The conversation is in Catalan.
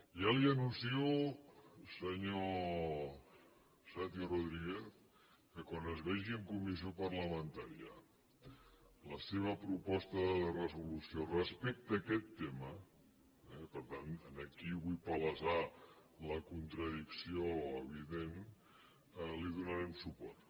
ja li anuncio senyor santi rodríguez que quan es vegi en comissió parlamentària la seva proposta de resolució respecte a aquest tema i per tant aquí vull palesar la contradicció evident li donarem suport